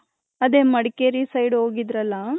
ಅದೇ ಮಡಕೇರಿ side ಹೋಗಿದ್ರಲ್ಲ.